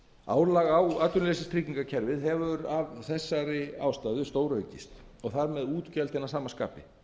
álag á atvinnuleysistryggingakerfið hefur stóraukist og þar með útgjöldin að sama skapi